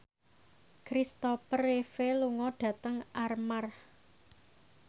Kristopher Reeve lunga dhateng Armargh